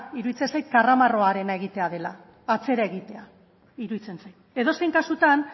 iruditzen zait karramarroarena egitea dela atzera egitea iruditzen zait edozein kasutan